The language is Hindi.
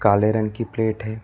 काले रंग की प्लेट है।